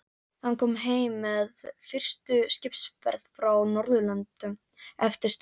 Hann kom heim með fyrstu skipsferð frá Norðurlöndum eftir stríðið.